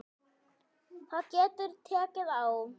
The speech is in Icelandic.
Það getur tekið á.